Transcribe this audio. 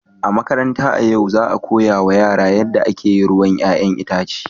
A makaranta a yau, za a koya wa yara yadda ake yin ruwan 'ya'yan itace.